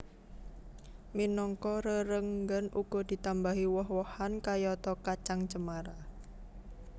Minangka rerenggan uga ditambahi woh wohan kayata kacang cemara